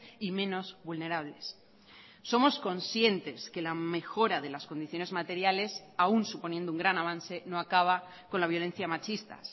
y menos vulnerables somos conscientes que la mejora de las condiciones materiales aún suponiendo un gran avance no acaba con la violencia machista